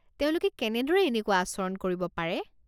তেওঁলোকে কেনেদৰে এনেকুৱা আচৰণ কৰিব পাৰে?